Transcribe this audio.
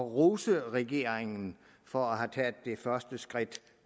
rose regeringen for at have taget det første skridt